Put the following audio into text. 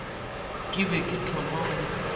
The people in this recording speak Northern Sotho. ke be ke thoma go